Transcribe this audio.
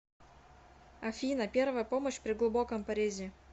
афина первая помощь при глубоком порезе